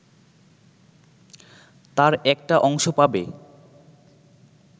তার একটা অংশ পাবে